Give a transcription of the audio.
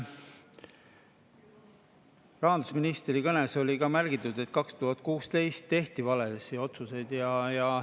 Rahandusministri kõnes sai ära märgitud, et 2016. aastal tehti valesid otsuseid.